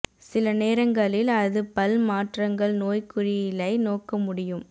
சில நேரங்களில் அது பல் மாற்றங்கள் நோய்க்குறியியலை நோக்க முடியும் கே